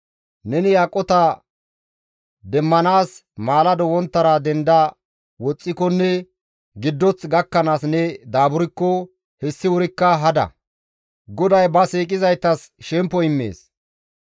Neni aqota demmanaas maalado wonttara denda woxxikonne giddoth gakkanaas ne daaburkko hessi wurikka hada; GODAY ba siiqizaytas shemppo immees.